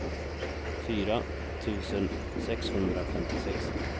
fyra tusen sexhundrafemtiosex